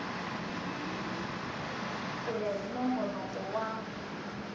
ku ya hi nongonoko wa